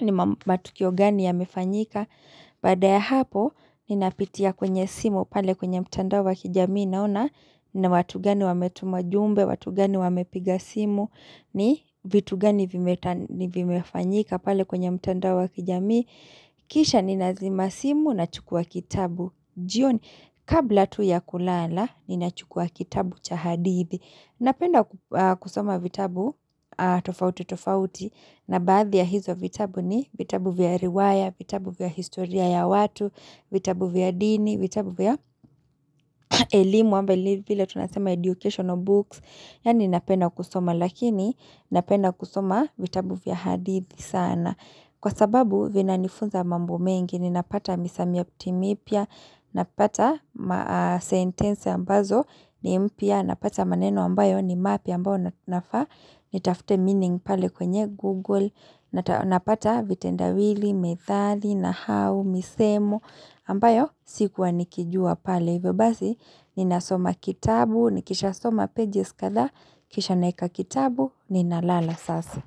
ni matukio gani ya mefanyika Baada ya hapo, ninapitia kwenye simu pale kwenye mtandao wa kijamii naona na watu gani wametumajumbe, watu gani wamepiga simu ni vitu gani vimefanyika pale kwenye mtandao wa kijamii Kisha ni nazima simu na chukua kitabu jioni kabla tu ya kulala ni na chukua kitabu cha hadithi Napenda kusoma vitabu tofauti tofauti na baadhi ya hizo vitabu ni vitabu vya riwaya, vitabu vya historia ya watu vitabu vya dini, vitabu vya elimu, ama, vile tunasema educational books, yani napenda kusoma, lakini napenda kusoma vitabu vya hadithi sana. Kwa sababu, vina nifunza mambo mengi, ni napata misamiati mipya, napata sentensi ambazo, ni mpya, napata maneno ambayo ni mapya ambayo nafaa, ni tafute meaning pale kwenye Google, na napata vitenda wili, methali, nahau, misemo ambayo sikuwa nikijua pale hivyobasi Nina soma kitabu, nikisha soma pages kadhaa Kisha naweka kitabu, ninalala sasa.